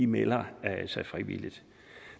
melder sig frivilligt